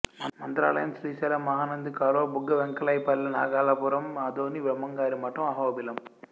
మంత్రాలయం శ్రీశైలం మహానంది కాలువ బుగ్గ వెంకైపల్లెనాగలాపురం ఆదోని బ్రహ్మంగారి మటంఅ హొబిలం